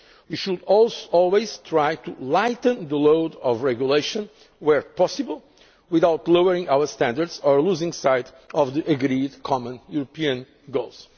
to SMEs. We should always try to lighten the load of regulation, where possible, without lowering our standards or losing sight of the agreed common European